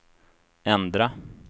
ändra